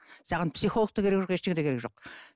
саған психолог та керегі жоқ ештеңе де керегі жоқ